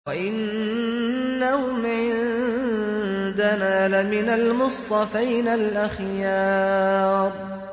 وَإِنَّهُمْ عِندَنَا لَمِنَ الْمُصْطَفَيْنَ الْأَخْيَارِ